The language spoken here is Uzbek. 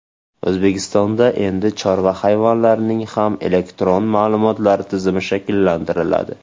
O‘zbekistonda endi chorva hayvonlarining ham elektron ma’lumotlar tizimi shakllantiriladi.